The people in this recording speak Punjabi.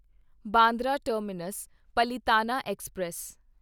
Bandra terminus Palitana express